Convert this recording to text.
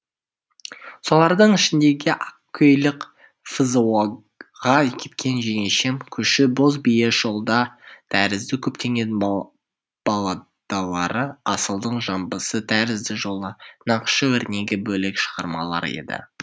солардың ішіндегі ақкөйлек фзо ға кеткен жеңешем көшу боз бие жолда тәрізді көптеген балладалары асылдың жамбысы тәрізді жолы нақышы өрнегі бөлек шығармалар еді